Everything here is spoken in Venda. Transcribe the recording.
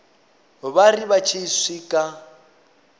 vha ri vha tshi swika